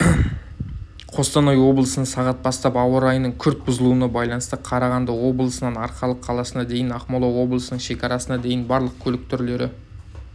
қостанай облысында сағат бастап ауа райының күрт бұзылуына байланысты қарағанды облысынан арқалық қаласына дейін ақмола облысының шекарасына дейін барлық көлік түрлері